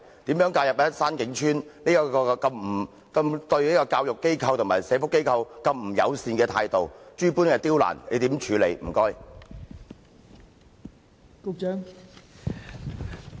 對於山景邨對教育機構和社福機構如此不友善的態度，諸般刁難，政府如何處理？